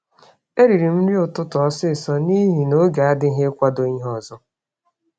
E ririm nri ụtụtụ ọsịsọ nihi noge adịghị ikwado ìhè ọzọ